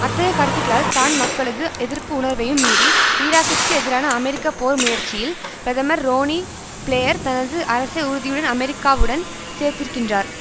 அத்தகைய கருத்துக்களால் தான் மக்களது எதிர்ப்பு உணர்வையும் மீறி ஈராக்கிற்கு எதிரான அமெரிக்க போர் முயற்சியில் பிரதமர் ரோனி பிளேயர் தனது அரசை உறுதியுடன் அமெரிக்காவுடன் சேர்த்திருக்கின்றார்